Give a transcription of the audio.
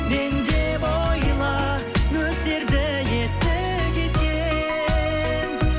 мен деп ойла нөсерді есі кеткен